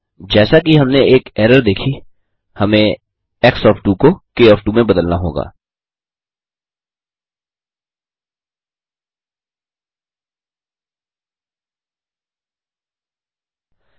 जैसा कि हमने एक एरर देखी हमने एक्स ओएफ 2 को क ओएफ 2 में बदल दी